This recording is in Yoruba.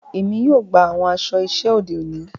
Èmi yóò gbà awọn aṣọ iṣẹ ode òní.